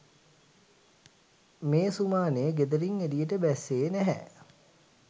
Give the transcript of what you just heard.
මේ සුමානෙ ගෙදරින් එළියට බැස්සෙ නැහැ.